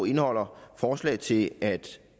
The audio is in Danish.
indeholder forslag til at vi